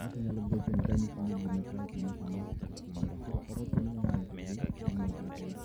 ng'ato nyalo gochoni ni gima chal kama kama otimore. Koro ok ochuno ni nyaka ng'ato odhi onyiew gaseti